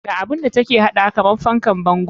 Ga abun da take haɗawa kamar fankan bango.